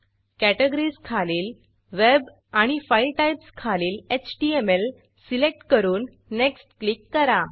categories categories खालील web web आणि file types file types खालील एचटीएमएल सिलेक्ट करून नेक्स्ट नेक्स्ट क्लिक करा